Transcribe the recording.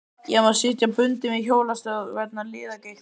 Ég má sitja bundinn við hjólastól vegna liðagiktar.